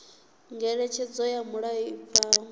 ngeletshedzo ya mulayo i bvaho